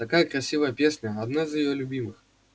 такая красивая песня одна из её любимых